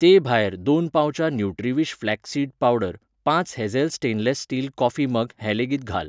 ते भायर, दोन पाउचां न्युट्रीविश फ्लॅक्स सीड पावडर, पांच hazel stainless steel coffee mug हें लेगीत घाल.